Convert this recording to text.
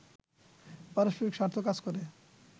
পারষ্পরিক স্বার্থ কাজ করে